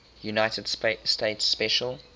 united states special